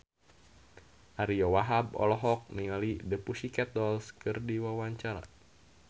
Ariyo Wahab olohok ningali The Pussycat Dolls keur diwawancara